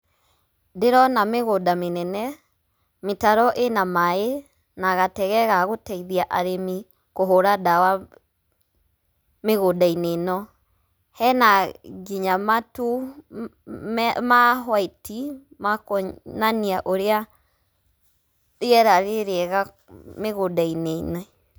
Ndĩrona mĩgũnda mĩnene, mĩtaro ĩna maĩ na gatege gagũteithia arĩmi kũhũra ndawa mĩgũndainĩ ĩno. Hena nginya matu ma huati makwonania ũrĩa rĩira rĩrĩega mĩgũnda-inĩ ĩno.